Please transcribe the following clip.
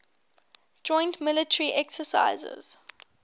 joint military exercises